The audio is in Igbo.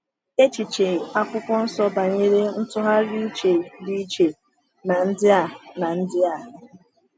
Echiche Akwụkwọ Nsọ banyere ntụgharị uche dị iche na ndị a. na ndị a.